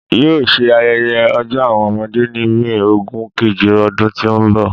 Yoo ṣe ayẹyẹ Ọjọ Awọn ọmọde ni May ogun keje ọdun ti n bọ